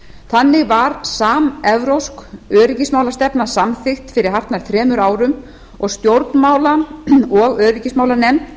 þannig var samevrópsk öryggismálastefna samþykkt fyrir hartnær þremur árum og stjórnmála og öryggismálanefnd